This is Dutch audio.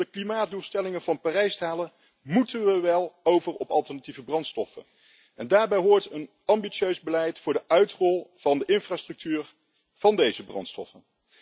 En om de klimaatdoelstellingen van Parijs te halen, moeten we wel over op alternatieve brandstoffen. Daarbij hoort een ambitieus beleid voor de uitrol van de infrastructuur van deze brandstoffen.